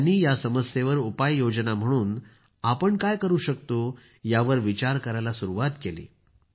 त्यांनी या समस्येवर उपाय योजना म्हणून आपण काय करू शकतो यावर विचार करायला सुरूवात केली